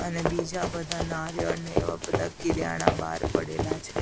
અને બીજા બધા નારિયળ ને એવા બધા કિરયાણા બાર પડેલા છે.